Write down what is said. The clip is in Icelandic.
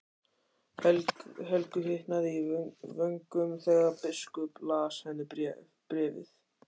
Helgu hitnaði í vöngum þegar biskup las henni bréfið.